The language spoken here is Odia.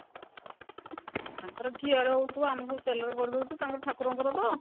ତାଙ୍କର ଘିଅ ରେ ହଉଥିବ ଆମର ସବୁ ତେଲ ରେ କରିଦଉଚୁ ତାଙ୍କର ଠାକୁର ଙ୍କର ତ